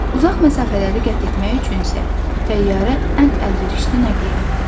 Uzaq məsafələri qət etmək üçün isə təyyarə ən əlverişli nəqliyyatdır.